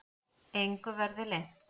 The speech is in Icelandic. Engu verði leynt.